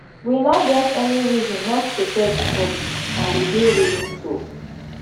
we no get any reason not to serve di public and we dey willing to